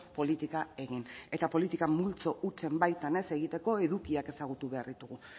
politika egin eta politika multzo hutsen baitan ez egiteko edukiak ezagutu behar ditugu